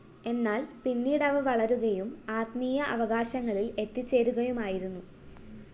എന്നാല്‍ പീന്നിട്‌ അവ വളരുകയും ആത്മീയ അവകാശങ്ങളില്‍ എത്തിച്ചേരുകയുമായിരുന്നു